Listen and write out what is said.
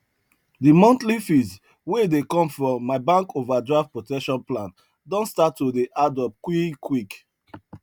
de monthly fees wey dey come from my bank overdraft protection plan don start to dey add up quick quick